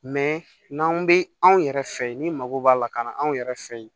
n'an bɛ anw yɛrɛ fɛ yen ni mago b'a la ka na anw yɛrɛ fɛ yen